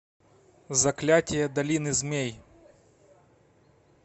заклятие долины змей